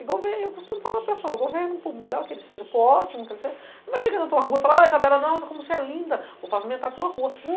Eu costumo falar para o pessoal, o governo, por melhor que ele seja, por ótimo que ele seja, não vai chegar na sua rua e falar, Isabela, como você é linda, vou pavimentar a sua rua.